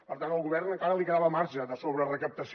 per tant al govern encara li quedava marge de sobrerecaptació